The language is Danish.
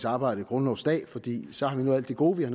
arbejde grundlovsdag fordi så har vi nået alt det gode i